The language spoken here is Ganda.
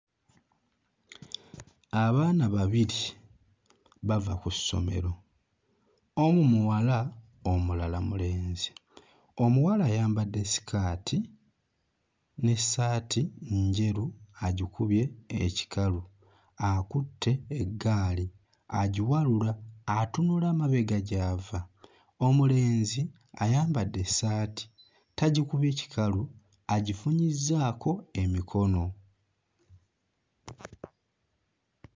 Abaana babiri bava ku ssomero, omu muwala omulala mulenzi. Omuwala ayambadde ssikaati n'essaati njeru agikubye ekikalu akutte eggaali agiwalula atunula mabega gy'ava. Omulenzi ayambadde essaati tagikubye kikalu agifunyizzaako emikono.